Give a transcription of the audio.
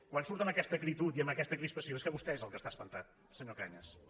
quan surt amb aquesta acritud i amb aquesta crispació és que vostè és el que està espantat senyor cañas